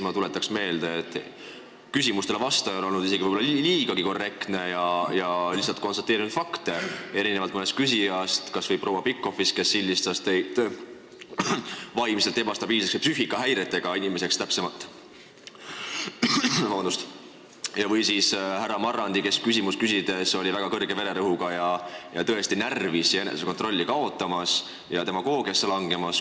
Ma tuletaks meelde, et küsimustele vastaja on olnud võib-olla isegi liiga korrektne ja lihtsalt konstateerinud fakte, erinevalt mõnest küsijast, kas või proua Pikhofist, kes sildistas teid vaimselt ebastabiilseks, psüühikahäiretega inimeseks, täpsemalt öeldes, või siis härra Marrandist, kellel küsides oli väga kõrge vererõhk ja kes oli tõesti närvis, enesekontrolli kaotamas ja demagoogiasse langemas.